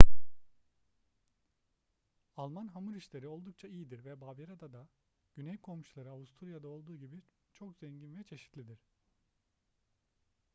alman hamur işleri oldukça iyidir ve bavyera'da da güney komşuları avusturya'da olduğu gibi çok zengin ve çeşitlidir